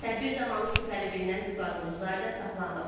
Tədbir zamanı şübhəli bilinən Vüqar Quluzadə saxlanılıb.